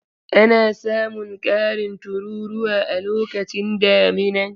Ana samun ƙarin tururuwa a lokacin damina.